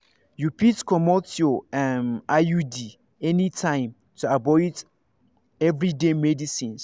you fit comot your um iud anytime to avoid everyday medicines.